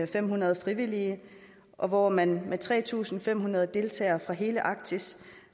fem hundrede frivillige og hvor man med tre tusind fem hundrede deltagere fra hele arktis